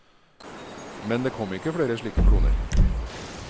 Men det kom ikke flere slike kloner.